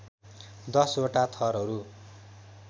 १० वटा थरहरू